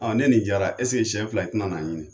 Ɔ ne nin jara ɛsike sɛn fila e tina na n ɲini